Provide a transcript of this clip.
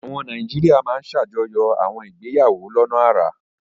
Àwọn Nàìjíríà máa ń ṣàjọyọ̀ àwọn ìgbéyàwó lọ́nà àrà.